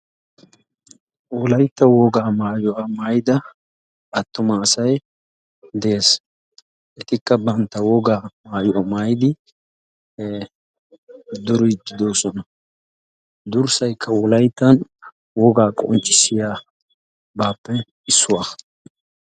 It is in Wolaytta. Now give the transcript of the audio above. Wolaytta woga maayyuwaa maayida attumasay de'es. etikka bantta wogaa maayuwaa maayyid duride de'oosona. durssaykka wolayttan wogaa qonccissiyabbappe issuwaa.